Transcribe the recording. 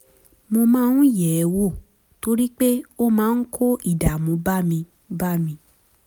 mo máa ń yẹ̀ ẹ́ wò torí pé ó máa ń kó ìdààmú bá mi bá mi